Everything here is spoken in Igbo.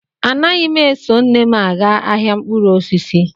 Anaghị m eso nne m aga ahịa mkpụrụ osisi